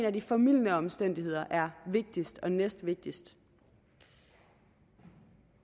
af de formildende omstændigheder er vigtigst og næstvigtigst det